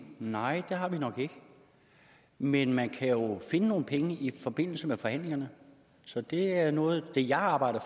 nej det har vi nok ikke men man kan jo finde nogle penge i forbindelse med forhandlingerne så det er noget af det jeg arbejder